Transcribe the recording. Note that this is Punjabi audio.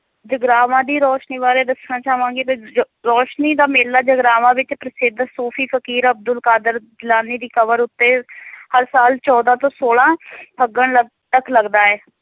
ਜਗਰਾਵਾਂ ਦੀ ਰੋਸ਼ਨੀ ਬਾਰੇ ਦੱਸਣਾ ਚਾਵਾਂਗੀ ਤੇ ਜ~ ਰੋਸ਼ਨੀ ਦਾ ਮੇਲਾ ਜਗਰਾਵਾਂ ਵਿਚ ਪ੍ਰਸਿੱਧ ਸੂਫੀ ਫਕੀਰ ਅਬਦੁਲ ਕਾਦਰ ਗਿਲਾਨੀ ਦੀ ਕਬਰ ਉੱਤੇ ਹਰ ਸਾਲ ਚੌਦਾਂ ਤੋਂ ਸੋਲਾਂ ਫੱਗਣ ਲਗ~ ਤੱਕ ਲੱਗਦਾ ਹੈ